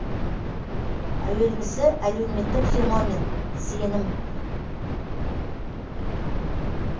әуелгісі әлеуметтік феномен сенім